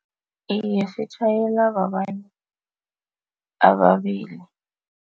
Iye, sitjhayelwa babantu ababili.